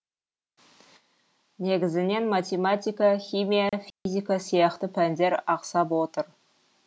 негізінен математика химия физика сияқты пәндер ақсап отыр